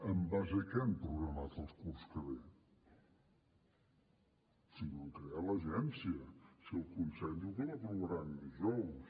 en base a què han programat el curs que ve si no han creat l’agència si el consell diu que l’aprovaran dijous